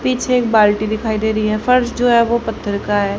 पीछे एक बाल्टी दिखाई दे रही है फर्श जो है वो पत्थर का है।